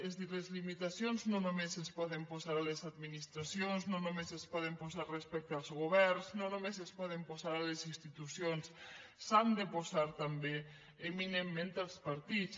és a dir les limitacions no només es poden posar a les administracions no només es poden posar respecte als governs no només es poden posar a les institucions s’han de posar també eminentment als partits